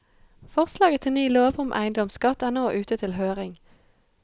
Forslaget til ny lov om eiendomsskatt er nå ute til høring.